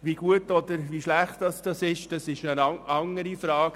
Wie gut oder wie schlecht dies ist, ist eine andere Frage;